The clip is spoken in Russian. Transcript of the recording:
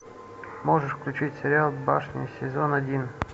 можешь включить сериал башни сезон один